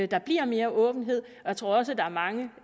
der bliver mere åbenhed jeg tror også at der er mange